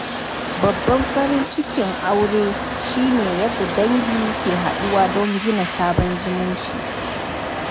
Babban farin cikin auren shi ne yadda dangi ke haɗuwa don gina sabon zumunci.